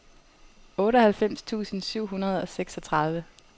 otteoghalvfems tusind syv hundrede og seksogtredive